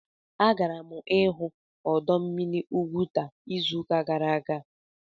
Agara m ịhụ ọdọ mmiri Ugwuta izụka gara aga